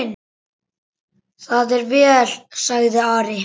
Það er vel, sagði Ari.